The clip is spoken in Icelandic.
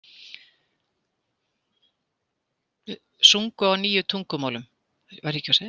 Sungu á níu tungumálum